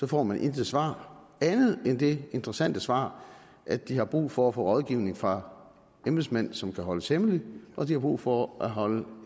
får man intet svar andet end det interessante svar at de har brug for at få rådgivning fra embedsmænd som kan holdes hemmeligt og at de har brug for at holde